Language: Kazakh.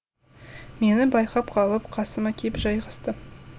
мені байқап қалып қасыма кеп жайғасты